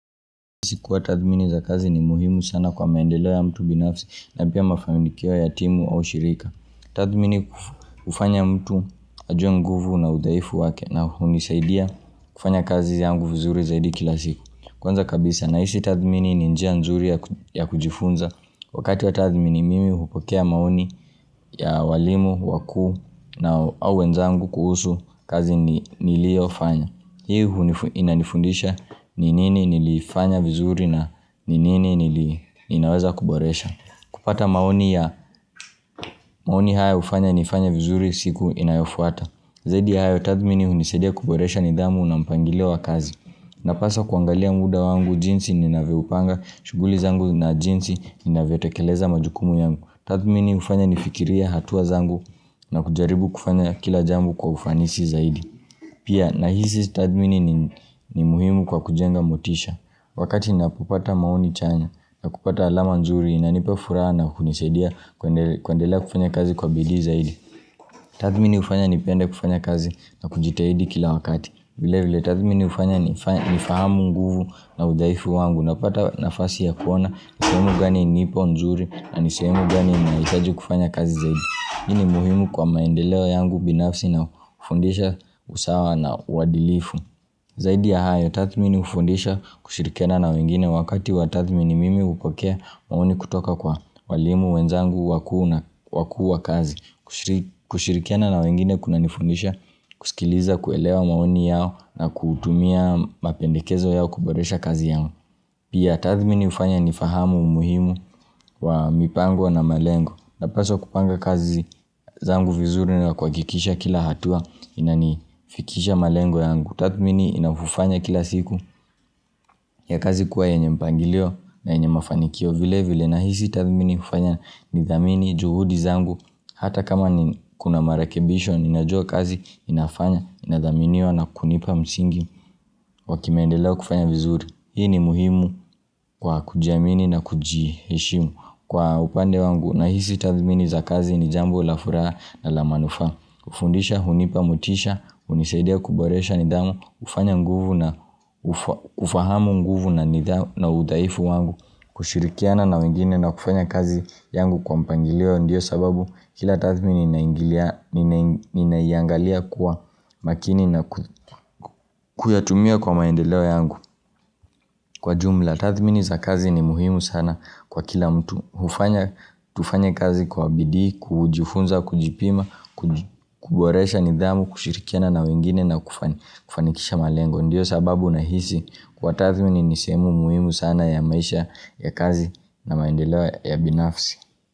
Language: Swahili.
Sikuwa tathmini za kazi ni muhimu sana kwa maendelo ya mtu binafsi na pia mafamikia ya timu au shirika Tathmini ufanya mtu ajunguvu na udaifu wake na unisaidia kufanya kazi yangu vizuri zaidi kila siku Kwanza kabisa na isi tathmini ninjia nzuri ya kujifunza Wakati wa tathmini mimi hupokea maoni ya walimu, wakuu na wenzangu kuhusu kazi niliofanya Hiu inanifundisha ni nini nilifanya vizuri na ninini ninaweza kuboresha kupata maoni haya ufanya nifanya vizuri siku inayofuata Zaidi ya hayo tathmini unisedia kuboresha nidhamu na mpangileo kazi Napasa kuangalia mwuda wangu jinsi ninaweupanga shughuli zangu na jinsi ninaweotekeleza majukumu yangu Tathmini ufanya nifikiria hatuwa zangu na kujaribu kufanya kila jambo kwa ufanisi zaidi Pia na hisi tathmini ni muhimu kwa kujenga motisha wakati na kupata mauni chanya na kupata alama nzuri na nipa furaha na kunisaidia kwa ndela kufanya kazi kwa bili zaidi. Tathmini ufanya ni penda kufanya kazi na kujitaidi kila wakati. Vile vile tathmini ufanya ni fahamu nguvu na udhaifu wangu na pata nafasi ya kuona sehemu gani nipo nzuri na niseomu gani na isaji kufanya kazi zaidi. Ni ni muhimu kwa maendeleo yangu binafsi na ufundisha usawa na wadilifu. Zaidi ya hayo, tathmini ufundisha kushirikena na wengine wakati wa tathmini mimi upakea maoni kutoka kwa walimu, wenzangu, wakuu na wakuu wa kazi. Kushirikena na wengine kuna nifundisha kusikiliza kuelewa maoni yao na kutumia mapendekezo yao kuboresha kazi yao. Pia tathmini ufanya ni fahamu umuhimu wa mipangwa na malengo napaswa kupanga kazi zangu vizuri ni wakukikisha kila hatua inanifikisha malengo yangu Tathmini inafufanya kila siku ya kazi kuwa yenye mpangilio na yenye mafanikio vile vile nahisi tathmini ufanya nithamini juhudi zangu Hata kama ni kuna marakebisho inajua kazi inafanya inathaminiwa na kunipa msingi Wakimendelewa kufanya vizuri Hii ni muhimu kwa kujiamini na kujishimu kwa upande wangu na hisi tathmini za kazi ni jambo la furaha na la manufa kufundisha, hunipamutisha, unisaidia kuboresha nidhamu, ufahamu nguvu na udaifu wangu kushirikiana na wengine na kufanya kazi yangu kwa mpangileo ndiyo sababu Hila tathmini ninaingalia kuwa makini na kuyatumia kwa maendeleo yangu kwa jumla Kwa tathmini za kazi ni muhimu sana kwa kila mtu ufanya kazi kwa bidi, kujifunza, kujipima, kuboresha nidhamu, kushirikiana na wengine na kufanikisha malengo. Ndiyo sababu na hisi kwa tathmini ni semu muhimu sana ya maisha ya kazi na maendelewa ya binafsi.